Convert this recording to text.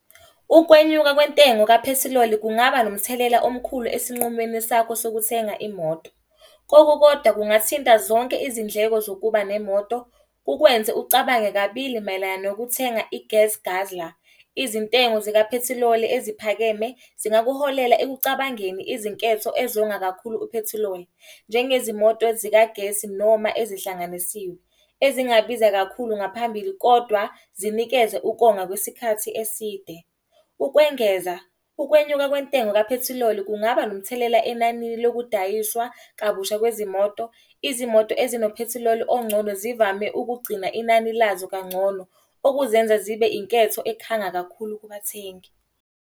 Ukwenyuka kwentengo kaphethiloli kungaba nomthelela omkhulu esinqumeni sakho sokuthenga imoto. Kokukodwa kungathinta zonke izindleko zokuba nemoto kukwenze ucabange kabili mayelana nokuthenga i-gas guzler. Izintengo zikaphethiloli eziphakeme zingakuholela ekucabangeni izinketho ezonga kakhulu uphethiloli. Njengezimoto zikagesi noma ezihlanganisiwe. Ezingabiza kakhulu ngaphambili kodwa, zinikeze ukonga kwesikhathi eside. Ukwengeza, ukwenyuka kwentengo kaphethiloli kungaba nomthelela enani lokudayiswa kabusha kwezimoto. Izimoto ezinophethiloli ongcono zivame ukugcina inani lazo kangcono, okuzenza zibe yinketho ekhanga kakhulu kubathengi.